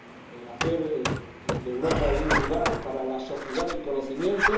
el hacer de Europa un lugar para la sociedad del conocimiento